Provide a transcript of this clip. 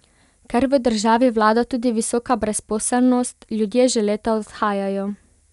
Ker v državi vlada tudi visoka brezposelnost, ljudje že leta odhajajo.